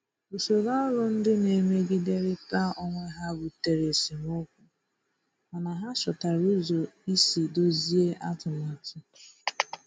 Usoro ọrụ ndị na-emegiderịta onwe ha butere esemokwu, mana ha chọtara ụzọ isi dọzie atụmatụ.